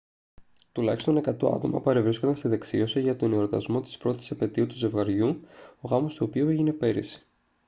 τουλάχιστον 100 άτομα παρευρίσκονταν στη δεξίωση για τον εορτασμό της πρώτης επετείου του ζευγαριού ο γάμος του οποίου έγινε πέρυσι